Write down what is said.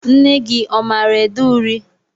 Nne gị ọ maara ede uri?